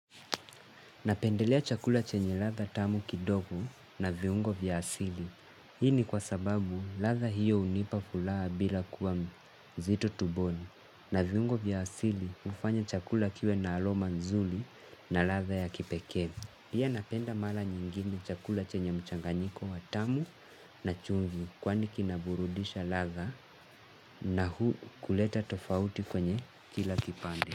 Napendelea chakula chenye ladha tamu kidogo na viungo vya asili. Hii ni kwa sababu ladha hiyo hunipa fulaha bila kuwa mzito tumboni. Na viungo vya asili ufanya chakula kiwe na aroma nzuri na ladha ya kipeke. Pia napenda mara nyingine chakula chenye mchanganyiko wa tamu na chumvi kwani kinaburudisha ladha na hu kuleta tofauti kwenye kila kipande.